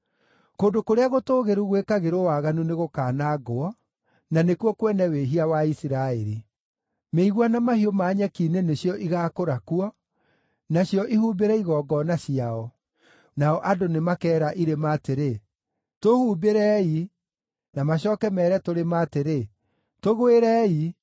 Kũndũ kũrĩa gũtũũgĩru gwĩkagĩrwo waganu nĩgũkanangwo, na nĩkuo kwene wĩhia wa Isiraeli. Mĩigua na mahiũ ma nyeki-inĩ nĩcio igaakũra kuo, nacio ihumbĩre igongona ciao. Nao andũ nĩmakeera irĩma atĩrĩ, “Tũhumbĩrei!” na macooke meere tũrĩma atĩrĩ, “Tũgwĩrei!”